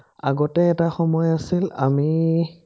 আগতে এটা সময় আছিল আমি